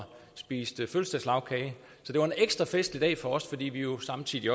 spiste fødselsdagslagkage det var en ekstra festlig dag for os fordi vi jo samtidig